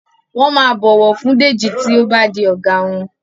won má bó ọwọ fún Deji tí o bá di oga wón